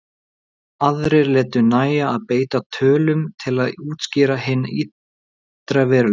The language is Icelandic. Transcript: Aðrir létu nægja að beita tölum til að útskýra hinn ytri veruleika.